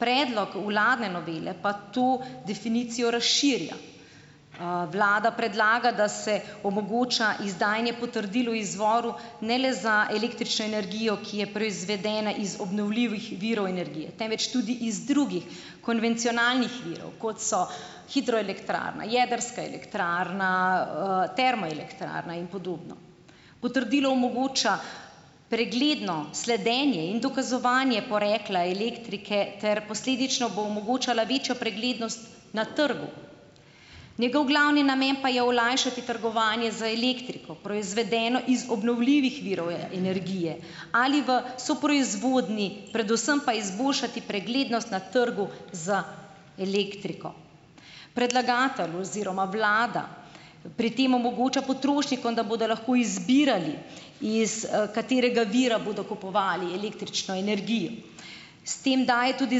Predlog vladne novele pa to definicijo razširja. Vlada predlaga, da se omogoča izdajanje potrdil o izvoru ne le za električno energijo, ki je proizvedena iz obnovljivih virov energije, temveč tudi iz drugih, konvencionalnih virov, kot so: hidroelektrarna, jedrska elektrarna, termoelektrarna in podobno. Potrdilo omogoča pregledno sledenje in dokazovanje porekla elektrike ter posledično bo omogočala večjo preglednost na trgu. Njegov glavni namen pa je olajšati trgovanje z elektriko, proizvedeno iz obnovljivih virov energije, ali v soproizvodnji, predvsem pa izboljšati preglednost na trgu z elektriko. Predlagatelj oziroma vlada pri tem omogoča potrošnikom, da bodo lahko izbirali, iz, katerega vira bodo kupovali električno energijo. S tem daje tudi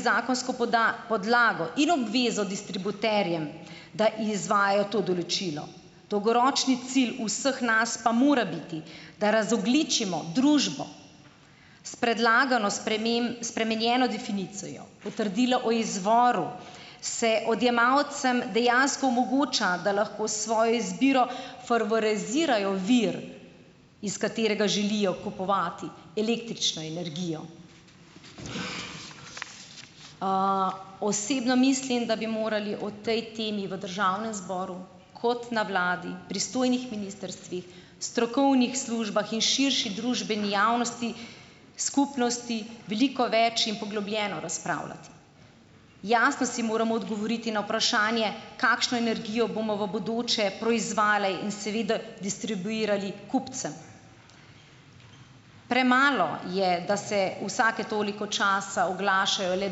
zakonsko podlago in obvezo distributerjem, da izvajajo to določilo. Dolgoročni cilj vseh nas pa mora biti, da razogljičimo družbo. S predlagano spremenjeno definicijo potrdila o izvoru se odjemalcem dejansko omogoča, da lahko s svojo izbiro favorizirajo vir, iz katerega želijo kupovati električno energijo. Osebno mislim, da bi morali o tej temi v državnem zboru, kot na vladi, pristojnih ministrstvih, strokovnih službah in širši družbeni javnosti, skupnosti, veliko več in poglobljeno razpravljati. Jasno si moramo odgovoriti na vprašanje, kakšno energijo bomo v bodoče proizvajali in seveda distribuirali kupcem. Premalo je, da se vsake toliko časa oglašajo le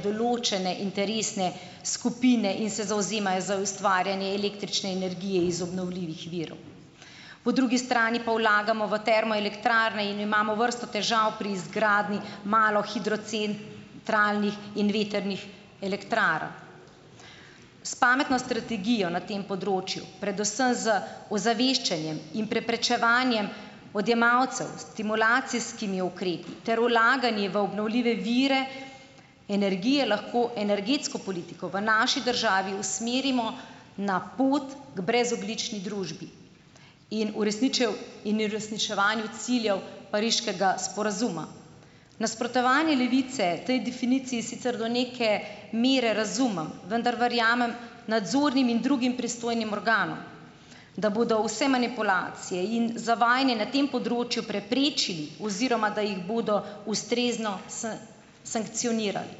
določene interesne skupine in se zavzemajo za ustvarjanje električne energije iz obnovljivih virov. Po drugi strani pa vlagamo v termoelektrarne in imamo vrsto težav pri izgradnji malo hidrocen, trajnih in vetrnih elektrarn. S pametno strategijo na tem področju, predvsem z ozaveščanjem in preprečevanjem odjemalcev s stimulacijskimi ukrepi ter vlaganje v obnovljive vire energije, lahko energetsko politiko v naši državi usmerimo na pot k brezogljični družbi in in uresničevanju ciljev pariškega sporazuma. Nasprotovanje Levice tej definiciji sicer do neke mere razumem, vendar verjamem nadzornim in drugim pristojnim organom, da bodo vse manipulacije in zavajanje na tem področju, preprečili, oziroma, da jih bodo ustrezno sankcionirali.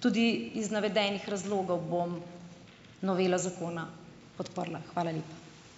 Tudi iz navedenih razlogov bom novelo zakona podprla. Hvala lepa.